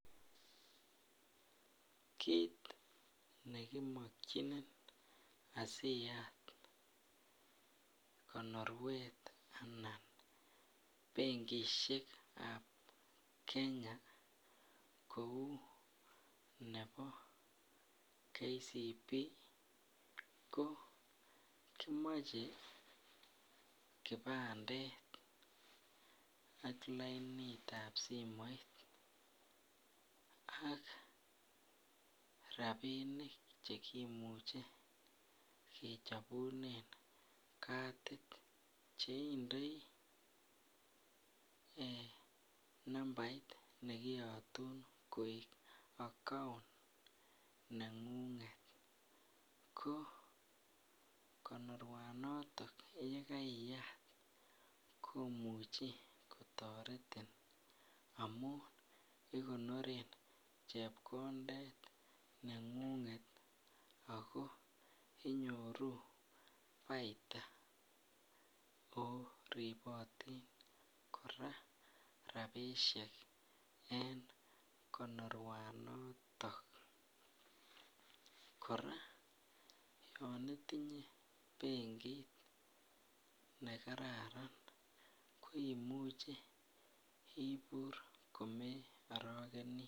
Kit nekimyokinin asi yat konoruet anan benkisiek ab Kenya kou nebo KCB ko kimoche kibandet ak lainit ab simoit ak rabinik Che kimuche kechobuen kadit Che indoi nambait ne kiyotun koik account nengunget ko konorwaniton ye kaiyat komuche kotoretin amun igonoren chepkondet nengunget ago inyoru paita ago ribotin kora rabisiek en konorwanaton kora yon itinye benkit ne kararan ko imuche ibur komearogeni